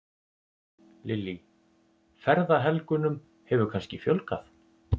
Lillý: Ferðahelgunum hefur kannski fjölgað?